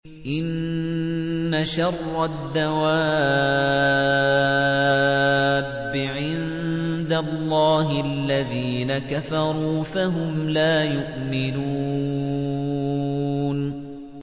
إِنَّ شَرَّ الدَّوَابِّ عِندَ اللَّهِ الَّذِينَ كَفَرُوا فَهُمْ لَا يُؤْمِنُونَ